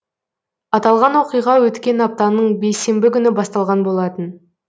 аталған оқиға өткен аптаның бейсенбі күні басталған болатын